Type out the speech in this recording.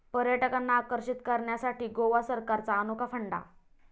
पर्यटकांना आकर्षित करण्यासाठी गोवा सरकारचा अनोखा फंडा